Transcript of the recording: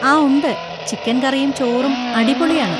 ആ ഉണ്ട്, ചിക്കൻ കറിയും ചോറും അടിപൊളിയാണ്.